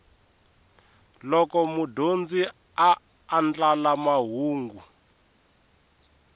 loko mudyondzi a andlala mahungu